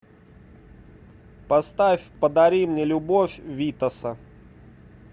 поставь подари мне любовь витаса